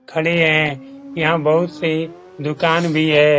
खड़े है यहां बहुत से दुकान भी है।